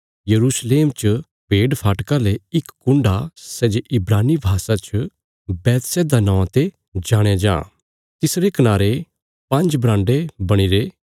यरूशलेम च भेडफाटका ले इक कुण्ड आ सै जे इब्रानी भाषा च बैतहसदा नौआं ते जाणया जां तिसरे कनारे पांज्ज बराण्डे बणीरे